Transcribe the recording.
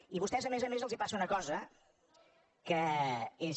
i a vostès a més a més els passa una cosa que és